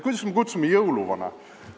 Kuidas me kutsume jõuluvana?